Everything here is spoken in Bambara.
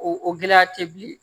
O o gɛlɛya tɛ bilen